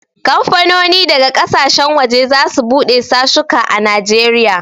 Kamfanoni daga ƙasashen waje za su bude sashuka a Najeriya